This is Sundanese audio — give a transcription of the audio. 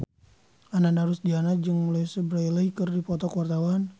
Ananda Rusdiana jeung Louise Brealey keur dipoto ku wartawan